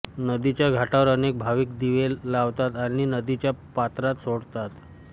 नदीच्या घाटांवर अनेक भाविक दिवे लावतात आणि नदीच्या पात्रात सोडतात